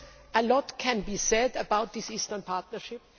A lot can be said about this Eastern Partnership.